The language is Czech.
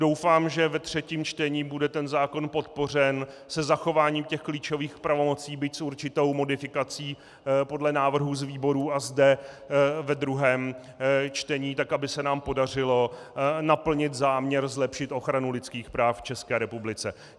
Doufám, že ve třetím čtení bude ten zákon podpořen se zachováním těch klíčových pravomocí, byť s určitou modifikací podle návrhů z výborů a zde ve druhém čtení tak, aby se nám podařilo naplnit záměr zlepšit ochranu lidských práv v České republice.